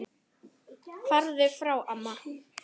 Farðu frá amma!